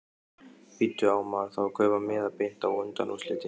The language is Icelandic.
Bíddu. á maður þá að kaupa miða beint á undanúrslitin?